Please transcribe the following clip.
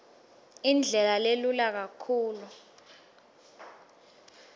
indlela lelula kakhulu